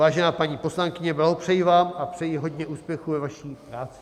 Vážená paní poslankyně, blahopřeji vám a přeji hodně úspěchů ve vaší práci.